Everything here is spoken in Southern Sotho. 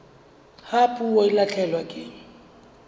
ha puo e lahlehelwa ke